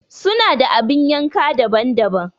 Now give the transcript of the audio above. Suna da abun yanka daban-daban.